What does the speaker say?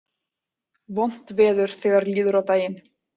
Vont veður þegar líður á daginn